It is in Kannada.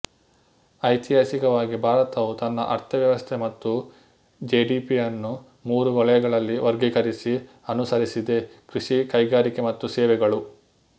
ಐತಿಹಾಸಿಕವಾಗಿ ಭಾರತವು ತನ್ನ ಅರ್ಥವ್ಯವಸ್ಥೆ ಮತ್ತು ಜಿಡಿಪಿಯನ್ನು ಮೂರು ವಲಯಗಳಲ್ಲಿ ವರ್ಗೀಕರಿಸಿ ಅನುಸರಿಸಿದೆ ಕೃಷಿ ಕೈಗಾರಿಕೆ ಮತ್ತು ಸೇವೆಗಳು